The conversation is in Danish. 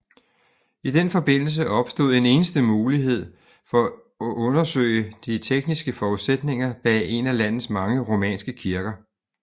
I den forbindelse opstod en enestående mulighed for at undersøge de tekniske forudsætninger bag en af landets mange romanske kirker